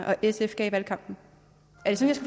og sf gav i valgkampen